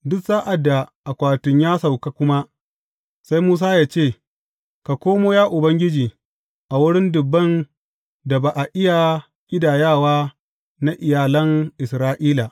Duk sa’ad da akwatin ya sauka kuma, sai Musa ya ce, Ka komo, ya Ubangiji, a wurin dubban da ba a iya ƙidayawa na iyalan Isra’ila.